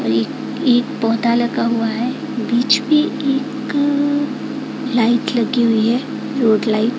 एक एक पौधा लगा हुआ है बीचमे एक अ लाइट लगी हुयी है रोड लाइट --